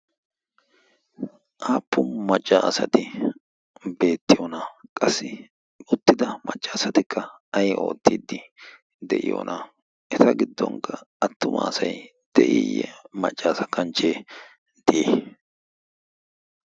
aappun maccaasati beettiyoona qassi uttida maccaasatikka ay oottiiddi de'iyoona eta giddonkka attumaasay de'iiyye maccaasa kanchchee de'i